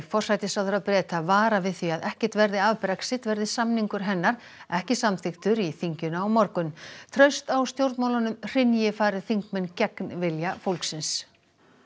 forsætisráðherra Breta varar við því að ekkert verði af Brexit verði samningur hennar ekki samþykktur í þinginu á morgun traust á stjórnmálunum hrynji fari þingmenn gegn vilja fólksins